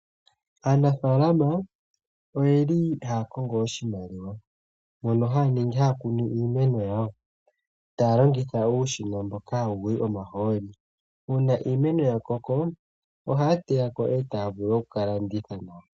Aanafala oha ya kongo oshimaliwa mokukuna iimeno yawo ta ya longitha uushina mboka ha wuyi omahooli. Uuna iimeno yakoko oha ya teya opo yavule oku kalanditha nawa.